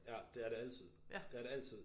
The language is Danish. Ja det er det altid. Det er det altid